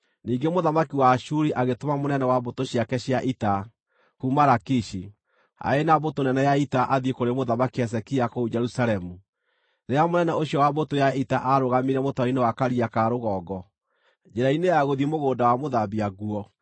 Ningĩ mũthamaki wa Ashuri agĩtũma mũnene wa mbũtũ ciake cia ita, kuuma Lakishi, arĩ na mbũtũ nene ya ita athiĩ kũrĩ Mũthamaki Hezekia kũu Jerusalemu. Rĩrĩa mũnene ũcio wa mbũtũ ya ita aarũgamire mũtaro-inĩ wa Karia-ka-Rũgongo, njĩra-inĩ ya gũthiĩ Mũgũnda-wa-Mũthambia-Nguo,